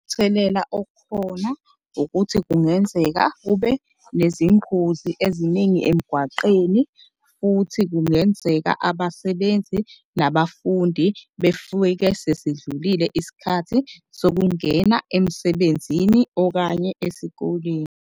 Okhona ukuthi kungenzeka kube nezingozi eziningi emgwaqeni. Futhi kungenzeka abasebenzi nabafundi sesidlulile isikhathi sokungena emsebenzini okanye esikoleni.